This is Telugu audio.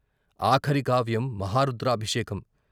ఆఖరి కావ్యం మహారుద్రాభిషేకం.